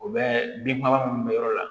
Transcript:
U bɛ bin faga minnu bɛ yɔrɔ la